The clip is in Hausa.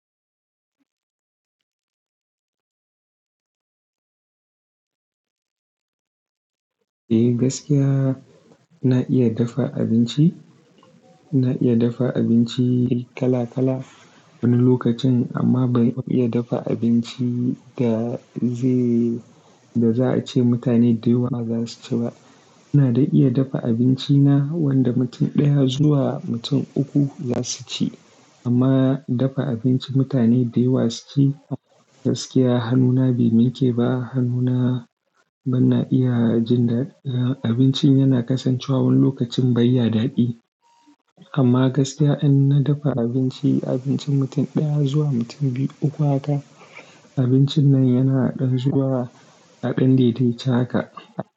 Eh, gaskiya na iya dafa abinci. Na iya dafa abinci kala kala wani lokacin amma bai iya dafa abinci da zai, da za a ce mutane da yawa ba za su ci ba. Na dai iya dafa abinci na wanda mutum ɗaya zuwa mutum uku za su ci. Amma dafa abinci mutane da yawa su ci gaskiya hannuna bai minke ba. Hannuna bana iya jin da abincin yana kasancewa wani lokacin bai ya daɗi. Amma gaskiya in na dafa abinci, abincin mutum ɗaya zuwa mutum biyu uku haka, abincin nan yana ɗan zuwa a ɗan dai dai ce haka.